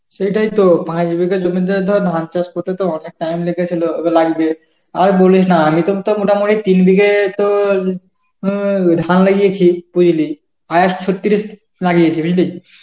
সেটাইতো পাঁচ বিঘা জমিতে ধর ধান চাষ করতে তোর অনেক time লেগেছিল বা লাগবে. আর বলিস না আমি তোর তো মোটামুটি তিন বিঘে তোর উম ধান লাগিয়েছি বুঝলি, আউশ ছত্রিশ লাগিয়েছি বুঝলি.